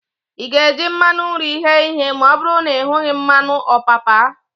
Ị ga-eji mmanụ nri ghee ihe ma ọbụrụ na ị hughị mmanụ ọpapa?